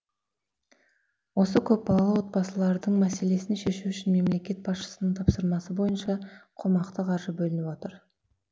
осы көпбалалы отбасылардың мәселесін шешу үшін мемлекет басшысының тапсырмасы бойынша қомақты қаржы бөлініп отыр